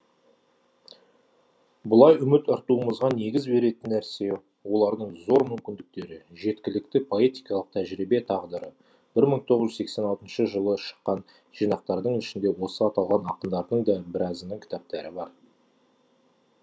бұлай үміт артуымызға негіз беретін нәрсе олардың зор мүмкіндіктері жеткілікті поэтикалық тәжірибе тағдыры бір мың тоғыз жүз сексен алтыншы жылы шыққан жинақтардың ішінде осы аталған ақындардың да біразының кітаптары бар